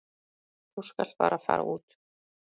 Þú skalt bara fara út.